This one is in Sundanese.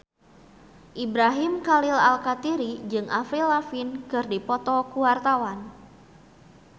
Ibrahim Khalil Alkatiri jeung Avril Lavigne keur dipoto ku wartawan